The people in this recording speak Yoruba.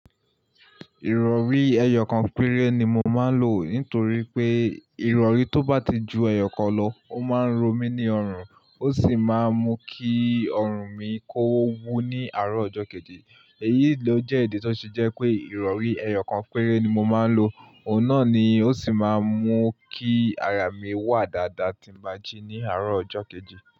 Ìrọ̀rí ẹyọ kan péré ni mo máa ń lò nítorí pé ìrọ̀rí tó bá ti ju ẹyọ kan lọ, ó máa ń romi ní ọrùn, ó sì máa ń mú kí ọrùn mi kó wú ní àárọ̀ ọjọ́ kejì. Èyí ló jẹ́ ìdí tí ó ṣe jẹ́ pé ìrọ̀rí ẹyọ kan péré ni mo máa ń lò. Òun náà ni ó sì máa ń mú kí ara mi wà dáadáa tí mo bá jí ní àárọ̀ ọjọ́ kejì.